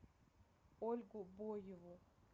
ольгу боеву